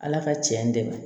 Ala ka tiɲɛ dɛmɛ